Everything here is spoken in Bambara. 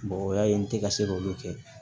Mɔgɔ ya ye n tɛ ka se k'olu kɛ